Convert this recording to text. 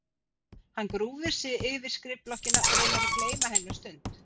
Hann grúfir sig yfir skrifblokkina og reynir að gleyma henni um stund.